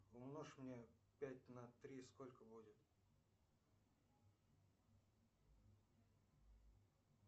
умножь мне пять на три сколько будет